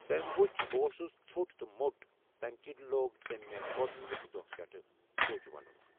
تٔمۍ وُچھ بہٕ اوسُس ژھوٚٹ تہٕ موٚٹ، تَمہِ کِنۍ لوگ تٔمۍ مہ گۄڈنٕک دۄہ پٮ۪ٹھ 'پُج' وَنُن۔